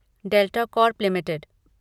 delta Corp limited